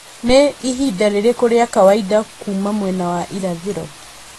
nĩ ihinda rĩrĩkũ rĩa kawaida kuuma mwena wa irathĩro